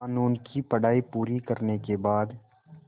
क़ानून की पढा़ई पूरी करने के बाद